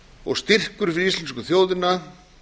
og styrkur fyrir íslensku þjóðina